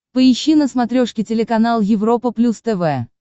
поищи на смотрешке телеканал европа плюс тв